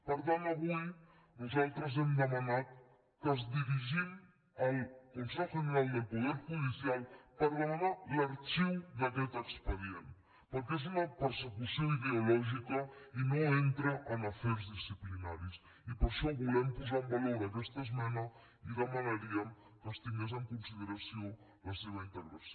per tant avui nosaltres hem demanat que ens dirigim al consejo general del poder judicial per demanar l’arxiu d’aquest expedient perquè és una persecució ideològica i no entra en afers disciplinaris i per això volem posar en valor aquesta esmena i demanaríem que es tingués en consideració la seva integració